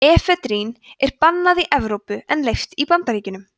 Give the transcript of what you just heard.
efedrín er bannað í evrópu en leyft í bandaríkjunum